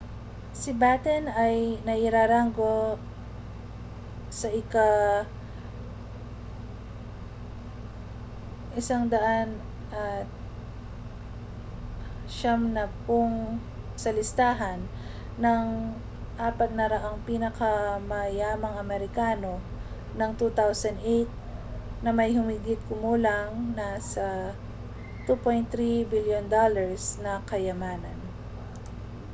si batten ay nairanggo sa ika-190 sa listahan ng 400 pinakamayamang amerikano ng 2008 na may humigit-kumulang na $ 2.3 bilyon na kayamanan